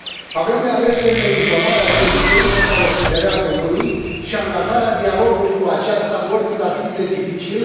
Avem de ales între izolarea Turciei, pe care o sugerează unii, și angajarea dialogului cu aceasta, oricât ar fi de dificil.